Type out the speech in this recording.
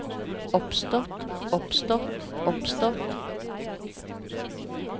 oppstått oppstått oppstått